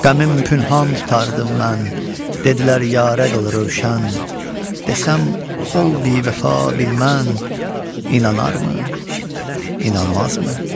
Qəmim pənhan tutardım mən, dedilər yarə qıl rövşən, desəm ol bivəfa bilmən inanarmı, inanmazmı?